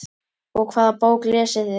Og hvaða bók lesið þið?